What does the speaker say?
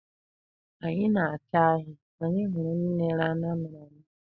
Ka anyị na-acha ahịa, anyị hụrụ ndị na-ere anu amịrị amị.